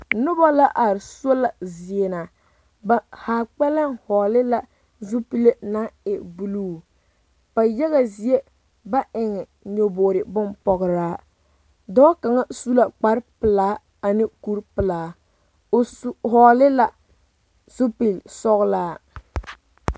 Noba la are sola zie na ba ha kpɛlɛm hɔgele la zupile naŋ e buluu ba yaga zie ba eŋ nyɔboo bompɔgeraa dɔɔ kaŋ su la kpar pelaa ane kuri pelaa o su hɔgele la zupili sɔglaa